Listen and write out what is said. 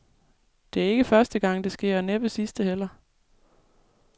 Det er ikke første gang, det sker, og næppe sidste heller.